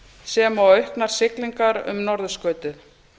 sem og auknar siglingar um norðurskautið